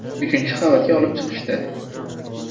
Uchinchi qavatga olib chiqishdi.